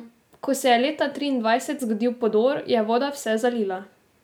Ko se je leta triindvajset zgodil podor, je voda vse zalila.